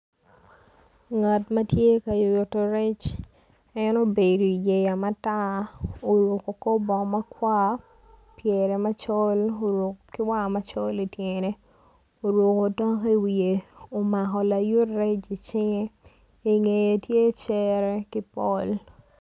Nat ma tye ka nyuto rec en obedo i yeya matar kor bongo macol omako layut rec i cinge i ngeye tye cere ki pol.